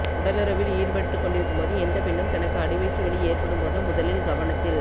உடலுறவில் ஈடுபட்டுக் கொண்டிருக்கும் எந்த பெண்ணும் தனக்கு அடிவயிற்று வலி ஏற்படும் போது முதலில் கவனத்தில்